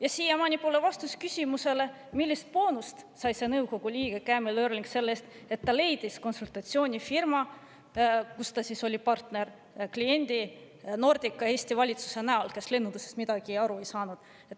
Ja siiamaani pole vastust küsimusele, millist boonust sai nõukogu liige Camiel Eurlings selle eest, et ta leidis konsultatsioonifirmale, kus ta oli partner, kliendi Nordica ja Eesti valitsuse näol, kes lennundusest midagi aru ei saanud.